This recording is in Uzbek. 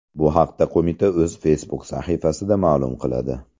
Bu haqda qo‘mita o‘z Facebook sahifasida ma’lum qiladi .